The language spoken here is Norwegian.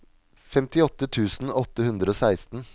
femtiåtte tusen åtte hundre og seksten